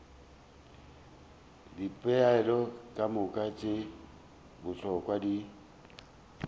dipoelo kamoka tše bohlokwa di